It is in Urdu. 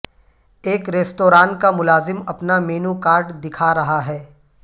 ایک ریستوران کا ملازم اپنا مینوکارڈ دکھا رہا ہے